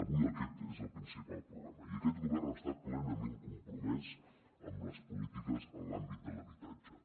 avui aquest és el principal problema i aquest govern està plenament compromès amb les polítiques en l’àmbit de l’habitatge